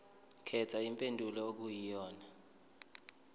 khetha impendulo okuyiyona